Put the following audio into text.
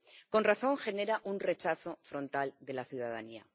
Con razón genera un rechazo frontal de la ciudadanía.